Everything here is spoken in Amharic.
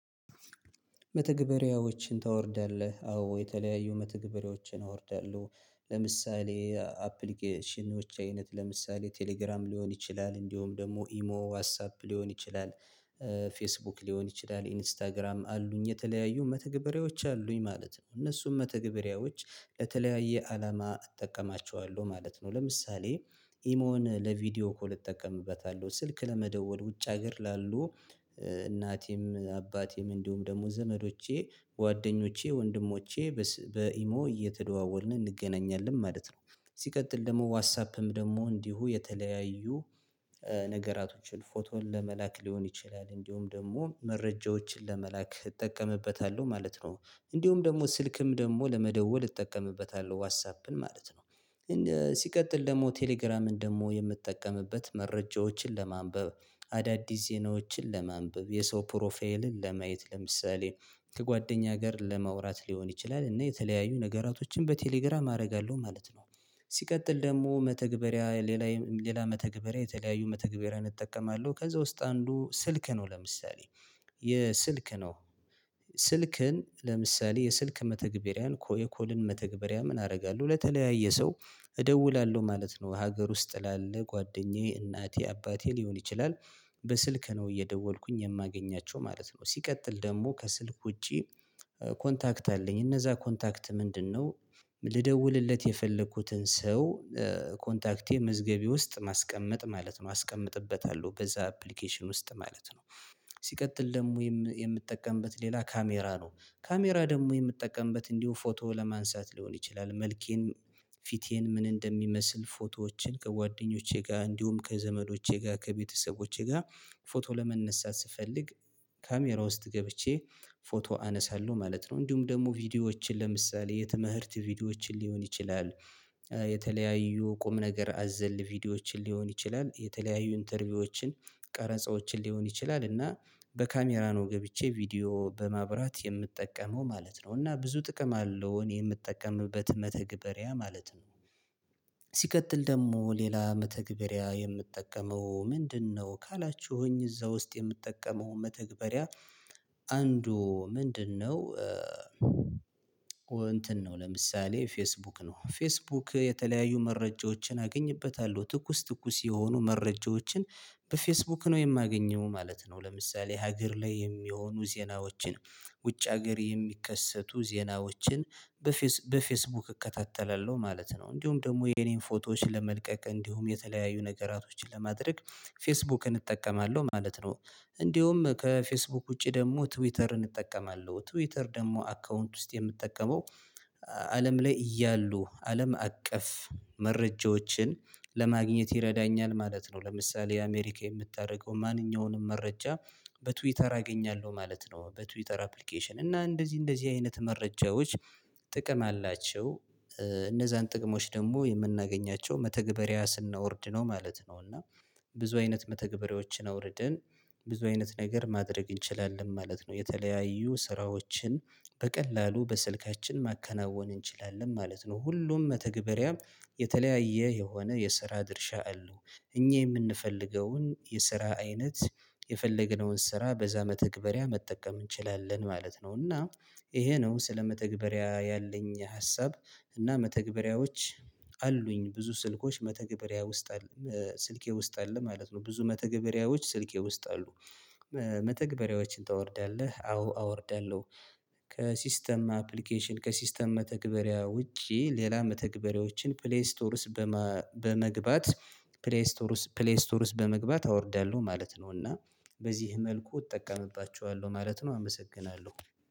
መተግበሪያዎችን ታወርዳለህ አዎ የተለያዩ መተግበሪያዎችን አወርዳለሁ ለምሳሌ አፕሊኬሽኖች አይነት ለምሳሌ ቴሌግራም ሊሆን ይችላል እንዲሁም ደግሞ ኢሞ ዋስአፕ ሊሆን ይችላል። ፌስቡክ ሊሆን ይችላል ኢንስታግራም አሉኝ የተለያዩ መተግበሪያዎች አሉኝ ማለት ነው እነሱም መተግበሪያዎች ለተለያየ አላማ እጠቀማቸዋለሁ ማለት ነው። ለምሳሌ ኢሞን ለቪዲዮ እኮ ልጠቀምበታለሁ ስልክ ለመደወል ውጭ ሀገር ላሉ እናቴም አባቴም እንዲሁም ደግሞ ዘመዶቼ ጓደኞቼ ወንድሞቼ በኢሞ እየተደዋወልን እንገናኛለን ማለት ነው። ሲቀጥል ደግሞ ዋትሳፕም ደግሞ እንዲሁ የተለያዩ ነገራቶችን ፎቶን ለመላክ ሊሆን ይችላል እንደውም ደግሞ መረጃዎችን ለመላክ እጠቀምበታለሁ ማለት ነው። እንደውም ደግሞ ስልክም ደግሞ ለመደወል እጠቀምበታለሁ ዋትሳፕን ማለት ነው። ሲቀጥል ደግሞ ቴሌግራምን ደግሞ የምትጠቀምበት መረጃዎችን ለማንበብ አዳዲስ ዜናዎችን ለማንበብ የሰው ፕሮፋይልን ለማየት ለምሳሌ ከጓደኛ ጋር ለማውራት ሊሆን ይችላል እና የተለያዩ ነገራቶችን በቴሌግራም አደርጋለሁ ማለት ነው። ሲቀጥል ደግሞ መተግበሪያ ሌላ ሌላ መተግበሪያ የተለያዩ መተግበሪያ እጠቀማለሁ ከዛ ውስጥ አንዱ ስልክ ነው ለምሳሌ የስልክ ነው። ስልክን ለምሳሌ የስልክ መተግበሪያን ኮልን መተግበሪያ ምን አደርጋለሁ ለተለያየ ሰው እደውላለሁ ማለት ነው። ሀገር ውስጥ ላለ ጓደኛዬ እናቴ አባቴ ሊሆን ይችላል በስልክ ነው እየደወልኩኝ የማገኛቸው ማለት ነው። ሲቀጥል ደግሞ ከስልክ ውጪ ኮንታክት አለኝ እነዛ ኮንታክት ምንድነው? ልደውልለት የፈለኩትን ሰው ኮንታክቴ ምዝገቤ ውስጥ ማስቀመጥ ማለት ነው አስቀምጥበታለሁ በዛ አፕሊኬሽን ውስጥ ማለት ነው። ሲቀጥል ደግሞ የምትጠቀምበት ሌላ ካሜራ ነው። ካሜራ ደግሞ የምትጠቀምበት እንዲሁ ፎቶ ለማንሳት ሊሆን ይችላል መልኬን ፊቴን ምን እንደሚመስል ፎቶዎችን ከጓደኞቼ ጋር እንዲሁም ከዘመዶቼ ጋር ከቤተሰቦቼ ጋር ፎቶ ለመነሳት ስፈልግ ካሜራ ውስጥ ገብቼ ፎቶ አነሳለሁ ማለት ነው። እንዲሁም ደግሞ ቪዲዮዎችን ለምሳሌ የተመህርት ቪዲዮዎችን ሊሆን ይችላል የተለያዩ ቁም ነገር አዘል ቪዲዮዎችን ሊሆን ይችላል የተለያዩ ኢንተርቪዎችን ቀረጻዎችን ሊሆን ይችላል እና በካሜራ ነው ገብቼ ቪዲዮ በማብራት የምጠቀመው ማለት ነው። እና ብዙ ጥቅም አለው እኔ የምጠቀምበት መተግበሪያ ማለት ነው። ሲቀጥል ደግሞ ሌላ መተግበሪያ የምጠቀመው ምንድነው? ካላችሁኝ እዛ ውስጥ የምትጠቀመው መተግበሪያ አንዱ ምንድነው? እንትን ነው ለምሳሌ ፌስቡክ ነው ፌስቡክ የተለያዩ መረጃዎችን አገኝበታለሁ ትኩስ ትኩስ የሆኑ መረጃዎችን በፌስቡክ ነው የማገኘው ማለት ነው። ለምሳሌ ሀገር ላይ የሚሆኑ ዜናዎችን ውጭ ሀገር የሚከሰቱ ዜናዎችን በፌስቡክ እከታተላለሁ ማለት ነው። እንዲሁም ደግሞ የኔን ፎቶዎች ለመልቀቅ እንዲሁም የተለያዩ ነገራቶችን ለማድረግ ፌስቡክን እጠቀማለሁ ማለት ነው። እንዲሁም ከፌስቡክ ውጪ ደግሞ ትዊተርን እጠቀማለሁ ትዊተር ደግሞ አካውንት ውስጥ የምትጠቀመው አለም ላይ እያሉ አለም አቀፍ መረጃዎችን ለማግኘት ይረዳኛል ማለት ነው። ለምሳሌ የአሜሪካ የምታደርገው ማንኛውንም መረጃ በትዊተር አገኛለሁ ማለት ነው። በትዊተር አፕሊኬሽን እና እንደዚህ እንደዚህ አይነት መረጃዎች ጥቅም አላቸው። እነዛን ጥቅሞች ደግሞ የምናገኛቸው መተግበሪያ ስናወርድ ነው ማለት ነው። እና ብዙ አይነት መተግበሪያዎችን አውርድን ብዙ አይነት ነገር ማድረግ እንችላለን ማለት ነው። የተለያዩ ስራዎችን በቀላሉ በስልካችን ማከናወን እንችላለን ማለት ነው። ሁሉም መተግበሪያም የተለያየ የሆነ የስራ ድርሻ አሉ። እኛ የምንፈልገውን የስራ አይነት የፈለግነውን ስራ በዛ መተግበሪያ መጠቀም እንችላለን ማለት ነው። እና ይሄ ነው ስለ መተግበሪያ ያለኝ ሀሳብ። እና መተግበሪያዎች አሉኝ ብዙ ስልኮች መተግበሪያ ውስጥ ስልኬ ውስጥ አለ ማለት ነው። ብዙ መተግበሪያዎች ስልኬ ውስጥ አሉ። መተግበሪያዎችን ታወርዳለህ አዎ አወርዳለሁ። ከሲስተም አፕሊኬሽን ከሲስተም መተግበሪያ ውጪ ሌላ መተግበሪያዎችን ፕሌይ ስቶርስ በመግባት ፕሌስ ቶርስ ፕሌስ ቶርስ በመግባት አወርደለሁ ማለት ነው። እና በዚህ መልኩ እጠቀምባቸዋለሁ ማለት ነው። አመሰግናለሁ